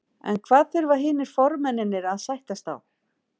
En hvað þurfa hinir formennirnir að sættast á?